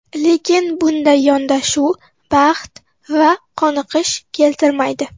Lekin bunday yondashuv baxt va qoniqish keltirmaydi.